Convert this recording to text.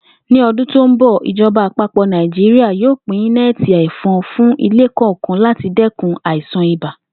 Ní o̩dún tó ń bò̩, ìjo̩ba àpapò̩ Naijiria yóò pín né̩è̩tì è̩fon fún ilé kò̩ò̩kan láti dé̩kun àìsàn ibà